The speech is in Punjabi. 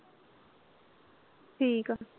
ਠੀਕ ਆ।